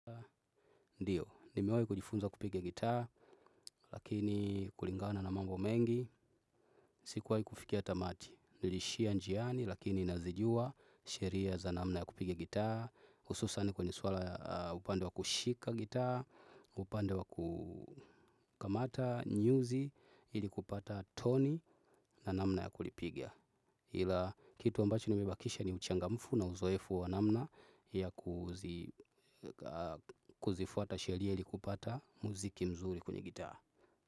Ndiyo, nimewahi kujifunza kupigia gitaa, lakini kulingana na mambo mengi, sikuwahi kufikia tamati. Niliishia njiani, lakini nazijua sheria za namna ya kupigia gitaa, hususani kwenye suala upande wa kushika gitaa, upande wa kukamata nyuzi, ili kupata toni na namna ya kulipigia. Hila kitu ambacho nimibakisha ni uchangamfu na uzoefu wa namna ya kuzifuata sheria ili kupata muziki mzuri kwenye gitaa.